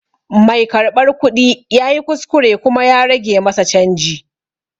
Mai karɓar kuɗi ya yi kuskure kuma ya rage masa canji.